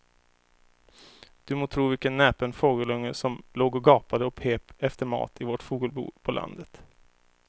Du må tro vilken näpen fågelunge som låg och gapade och pep efter mat i vårt fågelbo på landet.